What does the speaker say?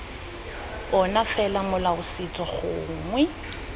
ona fela molao setso gongwe